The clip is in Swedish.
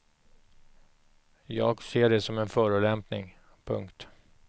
Jag ser det som en förolämpning. punkt